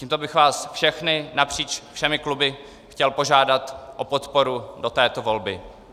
Tímto bych vás všechny napříč všemi kluby chtěl požádat o podporu do této volby.